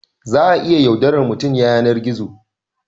Za a iya yaudarar mutum ya yanar gizo